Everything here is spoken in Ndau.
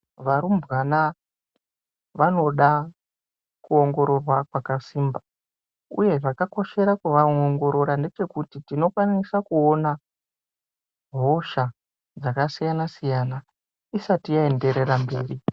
Varumbwana vanoda kuongororwa kwakasimba, uye zvakakoshera kuvaongorora ngepekuti tinokwanisa kuona hosha dzakasiyana siyana isati aenderera mberi.